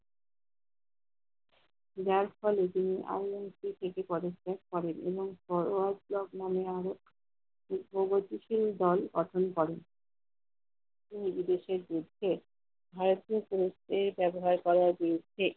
Date college এ আমৃত্যু থেকে পড়াশোনা করেন এবং একটি প্রগতিশীল দল গঠন করেন। তিনি বিদেশের বিরুদ্ধে ভারতীয় কুনুস্থায়ী ব্যবহার করার বিরুদ্ধে